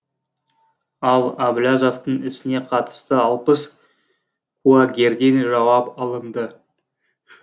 ал әблязовтың ісіне қатысты алпыс куәгерден жауап алынды